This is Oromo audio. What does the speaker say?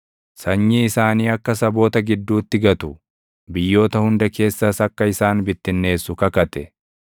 sanyii isaanii akka saboota gidduutti gatu, biyyoota hunda keessas akka isaan bittinneessu kakate.